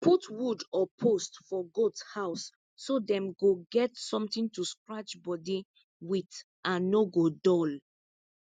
put wood or post for goat house so dem go get something to scratch body with and no go dull